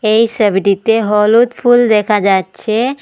এই সবিটিতে হলুদ ফুল দেখা যাচ্ছে।